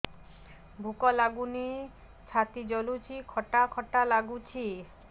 ଭୁକ ଲାଗୁନି ଛାତି ଜଳୁଛି ଖଟା ଖଟା ଲାଗୁଛି